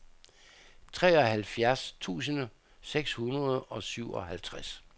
treoghalvfjerds tusind seks hundrede og syvoghalvtreds